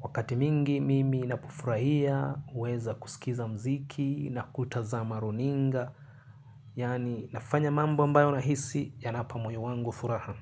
Wakati mingi, mimi ninapufurahia, huweza kusikiza mziki na kutazama maruninga, yani nafanya mambo ambayo na hisi, yanapa moyo wangu furaha.